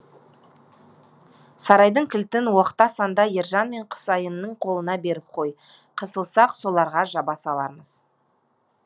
сарайдың кілтін оқта санда ержан мен құсайынның қолына беріп қой қысылсақ соларға жаба салармыз